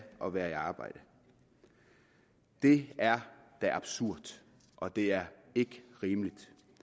at være arbejde det er da absurd og det er ikke rimeligt